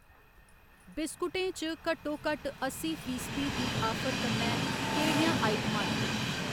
बिस्कुटें च घट्टोघट्ट अस्सी फीसदी दी आफर कन्नै केह्‌ड़ियां आइटमां न?